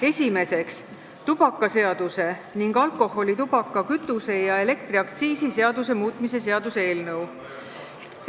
Esiteks, tubakaseaduse ning alkoholi-, tubaka-, kütuse- ja elektriaktsiisi seaduse muutmise seaduse eelnõu.